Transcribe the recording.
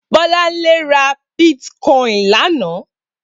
Bolanle rà bitkòin lànã